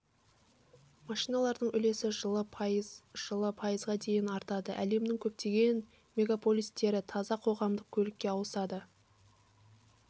машиналардың үлесі жылы пайыз жылы пайызға дейін артады әлемнің көптеген мегаполистері таза қоғамдық көлікке ауысады